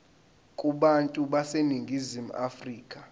kubantu baseningizimu afrika